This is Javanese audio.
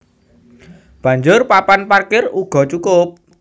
Banjur papan parkir uga cukup